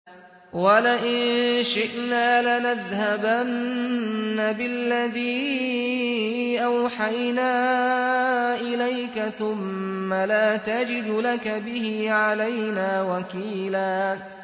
وَلَئِن شِئْنَا لَنَذْهَبَنَّ بِالَّذِي أَوْحَيْنَا إِلَيْكَ ثُمَّ لَا تَجِدُ لَكَ بِهِ عَلَيْنَا وَكِيلًا